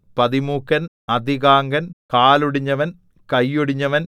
പതിമൂക്കൻ അധികാംഗൻ കാലൊടിഞ്ഞവൻ കൈയൊടിഞ്ഞവൻ